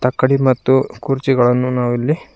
ಅಕಡಿ ಮತ್ತು ಕುರ್ಚಿಗಳನ್ನು ನಾವು ಇಲ್ಲಿ--